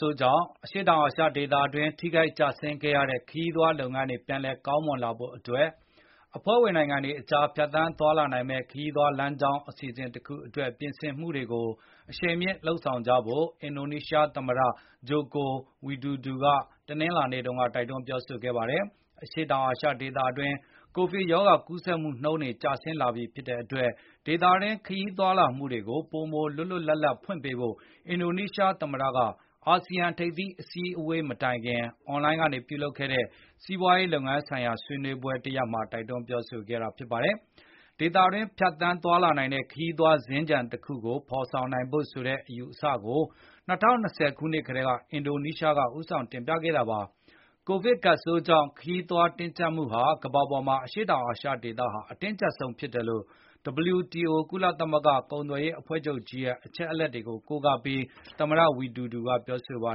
ဆိုးကြောင့် အရှေ့တောာင်အာရှဒေသအတွင်း ထိခိုက်ကျဆင်းခဲ့ရတဲ့ ခရီးသွားလုပ်ငန်း တွေပြန်လည်ကောင်းမွန်လာဖို့အတွက် အဖွဲ့ဝင်နိုင်ငံတွေအကြားဖြတ်သန်းသွားလာနိုင်မယ့်ခရီးသွား လမ်းကြောင်းအစီအစဉ်တခုအတွက် ပြင်ဆင်မှုတွေကို အရှိန်မြှင့်လုပ်ဆောင်ကြဖို့အင်ဒို နီးရှား သမတ Joko Widodo ကတနင်္လာနေ့တုန်းကတိုက်တွန်းပြောဆိုခဲ့ပါတယ်။ အရှေတောင်အာရှဒေသတွင်း ကိုဗစ်ရောဂါကူးဆက်မှုနှုန်းတွေကျဆင်းလာပြီဖြစ်တဲ့ အတွက် ဒေသတွင်း ခရီးသွားလာမှုတွေကို ပိုမိုလွတ်လွတ်လပ်လပ်ဖွင့်ပေးဖို့ အင်ဒိုနီးရှား သမတက အာစီယံ ထိပ်သီးအစည်းအဝေးမတိုက်ခင် အွန်လိုင်းကနေပြုလုပ်တဲ့ စီးပွားရေးလုပ်ငန်းဆိုင်ရာဆွေးနွေး ပွဲတရပ်မှာ တိုက်တွန်းပြောဆိုခဲ့တာပါ။ ဒေသတွင်းဖြတ်သန်းသွားလာနိုင်တဲ့ခရီးသွားစင်္ကြန်တခုကိုဖေါ်ဆောင်ဖို့ ဆိုတဲ့အယူအဆတရပ်ကို ၂၀၂၀ ခုနှစ်က တည်းကအင်ဒိုနီးရှားက ဦးဆောင်တင်ပြခဲ့တာပါ။ ကိုဗစ်ကပ်ဆိုးကြောင့် ခရီးသွားတင်းကြပ်မှုဟာ ကမ္ဘာပေါ်မှာ အရှေ့တောင်အာရှဒေသဟာ အတင်းကြပ်ဆုံးဖြစ်တယ်လို့ WTO ကုလသမဂ္ဂကုန်သွယ်ရေးအဖွဲ့ကြီးရဲ့ အချက်အလက်တွေကို ကိုးကားပြီး သမတ ဝီဒူဒူက ပြောဆိုခဲ့ပါ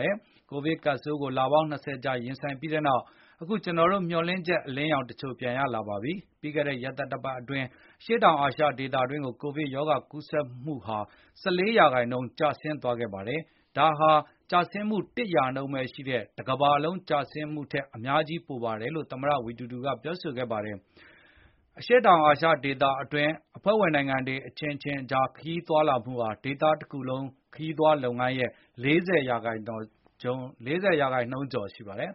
တယ်။ ကိုဗစ်ကပ်ဆိုးကို လပေါင်း ၂၀ ကြာရင်ဆိုင်ခဲ့ပြီးနောက် အခုကျနော်တို့ မျှော်လင့်ချက်အလင်း ရောင်တချိုကိုမြင်လာရပါပြီ။ ပြီးခဲ့တဲ့ ရက်သတ္တပတ်အတွင်း အရှေ့တောင်အာရှဒေသတွင်း ကိုဗစ် ရောဂါကူးဆက်ဖြစ်ပွားမှုဟာ ၁၄ ရာနှုန်းကျဆင်းသွားခဲ့ပါတယ်။ ဒါဟာ ကျဆင်းမှု ၁ ရာနှုန်းဘဲ ရှိတဲ့ တကမ္ဘာလုံးကျဆင်းမှုထက် အများကြီးပိုပါတယ်လို့ သမတ ဝီဒူဒူက ပြောဆိုခဲ့ပါတယ်။ အရှေ့တောင်အာရှဒေသတွင်း အဖွဲ့ဝင်နိုင်ငံတွေအခြင်းအခြင်းအကြားခရီးသွားလှုမှုဟာ ဒေသ တခုလုံးခရီးသွားလုပ်ငန်းရဲ့ ၄၀ ရာနှုန်းကျော်ရှိပါတယ်။